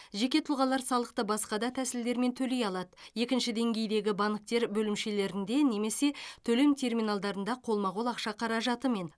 жеке тұлғалар салықты басқа да тәсілдермен төлей алады екінші деңгейдегі банктер бөлімшелерінде немесе төлем терминалдарында қолма қол ақша қаражатымен